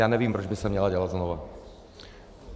Já nevím, proč by se měla dělat znova.